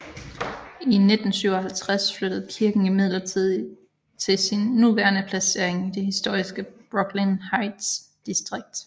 I 1957 flyttede kirken imidlertid til sin nuværende placering i det historiske Brooklyn Heights distrikt